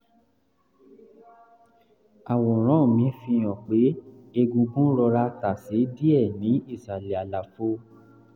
àwòrán mri fi hàn pé egungun rọra tàsé díẹ̀ ní ìsàlẹ̀ àlàfo